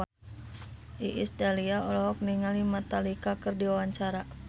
Iis Dahlia olohok ningali Metallica keur diwawancara